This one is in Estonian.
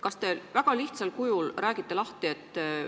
Kas te räägiksite väga lihtsal kujul lahti?